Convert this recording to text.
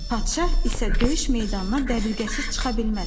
Padşah isə döyüş meydanına dəbilqəsiz çıxa bilməz.